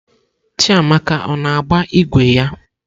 Chiamaka ọ na-agba ígwè ya?